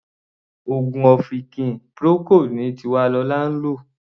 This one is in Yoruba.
Oògùn ọ̀fìnkì Procold ni Tiwalolá ń lò.